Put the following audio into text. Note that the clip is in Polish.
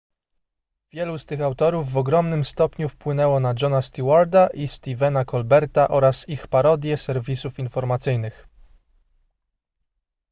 wielu z tych autorów w ogromnym stopniu wpłynęło na jona stewarta i stephena colberta oraz ich parodie serwisów informacyjnych